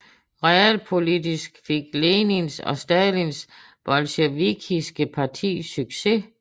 Realpolitisk fik Lenins og Stalins bolsjevikiske parti succes